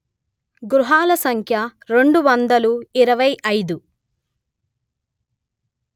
గృహాల సంఖ్య రెండు వందలు ఇరవై అయిదు